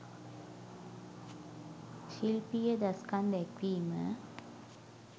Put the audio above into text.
ශිල්පීය දස්කම් දැක්වීම